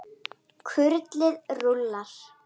Kurlið rúllar.